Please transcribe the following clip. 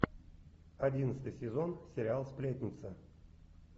одиннадцатый сезон сериал сплетница